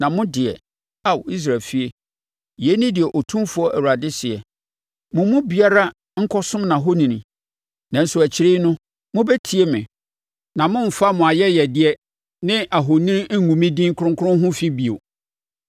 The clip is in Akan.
“ ‘Na mo deɛ, Ao Israel efie, yei ne deɛ Otumfoɔ Awurade seɛ: Mo mu biara nkɔsom nʼahoni! Nanso, akyiri no, mobɛtie me na moremfa mo ayɛyɛdeɛ ne ahoni ngu me din kronkron ho fi bio.